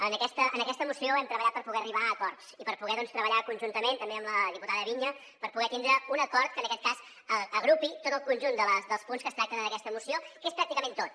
en aquesta moció hem treballat per poder arribar a acords i per poder treballar conjuntament també amb la diputada viña per poder tindre un acord que en aquest cas agrupi tot el conjunt dels punts que es tracten en aquesta moció que és pràcticament tot